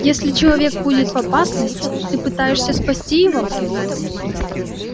если человек будет в опасности ты пытаешься спасти его